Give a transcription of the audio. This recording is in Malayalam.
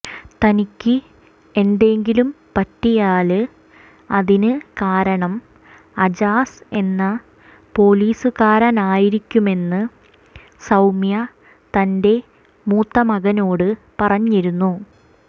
തനിക്ക് എന്തെങ്കിലും പറ്റിയാല് അതിന് കാരണം അജാസ് എന്ന പൊലീസുകാരനായിരിക്കുമെന്ന് സൌമ്യ തന്റെ മൂത്തമകനോട് പറഞ്ഞിരുന്നു